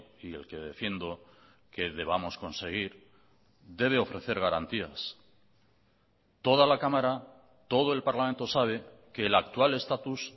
y el que defiendo que debamos conseguir debe ofrecer garantías toda la cámara todo el parlamento sabe que el actual estatus